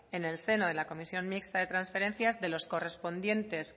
en el seno de la comisión mixta de transferencias de los correspondientes